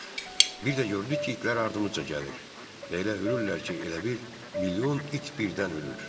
Bir də gördük ki, itlər ardımca gəlir və elə hürürlər ki, elə bil milyon it birdən hürür.